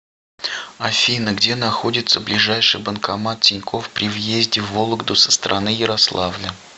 афина где находится ближайший банкомат тинькофф при въезде в вологду со стороны ярославля